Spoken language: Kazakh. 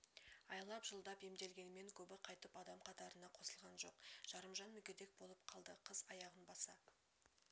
айлап жылдап емделгенімен көбі қайтып адам қатарына қосылған жоқ жарымжан мүгедек болып қалды қыз аяғын баса